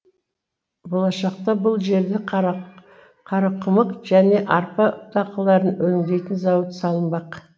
болашақта бұл жерде қарақұмық және арпа дақылдарын өндейтін зауыт салынбақ